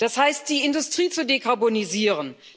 Das heißt, die Industrie zu dekarbonisieren.